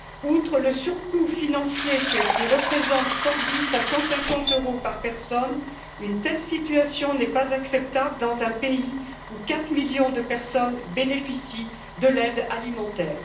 Outre le surcoût financier, qui représente entre 110 et 150 euros par personne, une telle situation n'est pas acceptable dans un pays où quatre millions de personnes bénéficient de l'aide alimentaire.